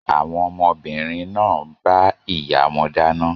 Àwọn ọmọbìnrin náà ń bá ìyá wọn dáná.